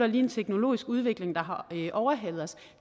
lige en teknologisk udvikling der har overhalet os